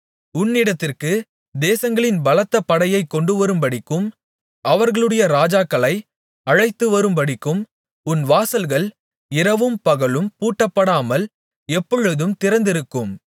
உன்னிடத்திற்கு தேசங்களின் பலத்த படையைக் கொண்டுவரும்படிக்கும் அவர்களுடைய ராஜாக்களை அழைத்துவரும்படிக்கும் உன் வாசல்கள் இரவும் பகலும் பூட்டப்படாமல் எப்பொழுதும் திறந்திருக்கும்